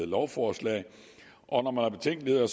lovforslag og når man har betænkeligheder